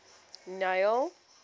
neil